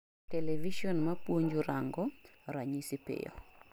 television mapuonjo:rango ranyisi piyo